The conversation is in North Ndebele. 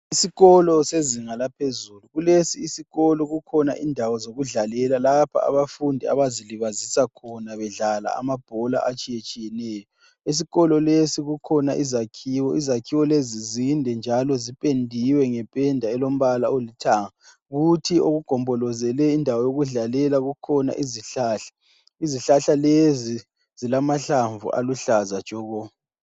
Isikolo sezinga laphezulu kulesi isikolo kukhona indawo yokudlalela lapho abafundi abazilibazisa khona bedlala amabhola atshiyatshiyeneyo. Esikolo lesi kukhona izakhiwo, izakhiwo lezi zinde njalo zipendiwe ngependa elombala olithanga kuthi okukhona indawo yokudlalela kugombolozele izihlahla. Izihlahla lezi zilamahlamvu aluhlaza tshoko.